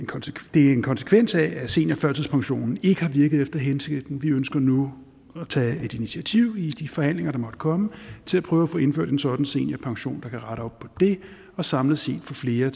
det er en konsekvens af seniorførtidspensionen ikke har virket efter hensigten vi ønsker nu at tage et initiativ i de forhandlinger der måtte komme til at prøve at få indført en sådan seniorpension kan rette op på det og samlet set give flere